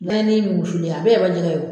Naani mun wusulen a bɛɛ ye wali jɛgɛ ye o.